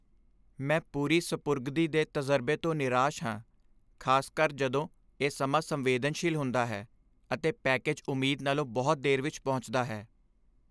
ਮੈਂ ਪੂਰੀ ਸਪੁਰਦਗੀ ਦੇ ਤਜ਼ਰਬੇ ਤੋਂ ਨਿਰਾਸ਼ ਹਾਂ, ਖ਼ਾਸਕਰ ਜਦੋਂ ਇਹ ਸਮਾਂ ਸੰਵੇਦਨਸ਼ੀਲ ਹੁੰਦਾ ਹੈ ਅਤੇ ਪੈਕੇਜ ਉਮੀਦ ਨਾਲੋਂ ਬਹੁਤ ਦੇਰ ਵਿੱਚ ਪਹੁੰਚਦਾ ਹੈ।